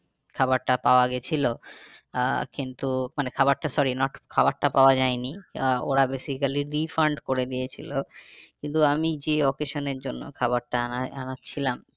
খাবারটা পাওয়া গিয়েছিলো আহ কিন্তু মানে খাবারটা sorry খবরটা পাওয়া যায়নি আহ ওরা basically refund করে দিয়েছিলো। কিন্তু আমি যে occasion এর জন্য খাবারটা আনাছিলাম